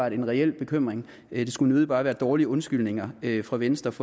en reel bekymring det skulle nødig bare være dårlige undskyldninger fra venstres